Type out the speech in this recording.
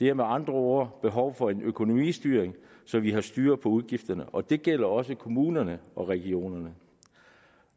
er med andre ord behov for økonomistyring så vi har styr på udgifterne og det gælder også kommunerne og regionerne